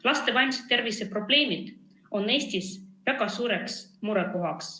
Laste vaimse tervise probleemid on Eestis väga suureks murekohaks.